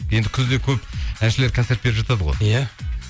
енді күзде көп әншілер концерт беріп жатады ғой иә